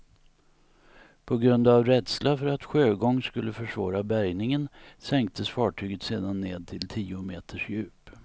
På grund av rädsla för att sjögång skulle försvåra bärgningen sänktes fartyget sedan ned till tio meters djup.